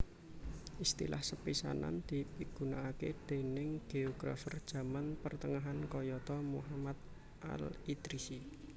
Istilah sepisanan dipigunakaké déning géografer jaman pertengahan kayata Muhammad al Idrisi